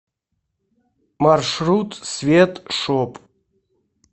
маршрут свет шоп